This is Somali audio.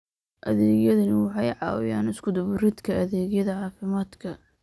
Adeegyadani waxay caawiyaan isku-dubbaridka adeegyada caafimaadka.